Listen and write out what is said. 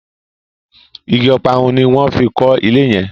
ìgi Ọparun ní wón fí kò ilé yen.